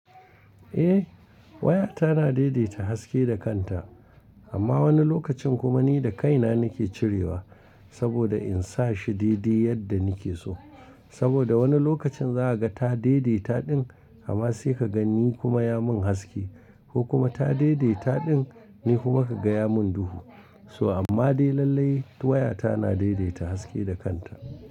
Eh, waya ta na daidaita haske da kanta. Amma wani lokacin kuma ni da kai na nake cirewa saboda in sa shi daidai yadda nike so. Saboda wani lokacin zaka ga ta daidaita din amma sai ka ga ni kuma ya mun haske ko kuma ta daidaita din ni kuma ka gaya mun duhu. So amma dai lallai waya ta na daidaita haske da kanta.